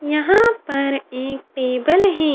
यहाँ पे एक टेबल है।